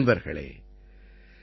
நண்பர்களே Brian D